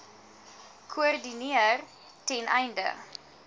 koördineer ten einde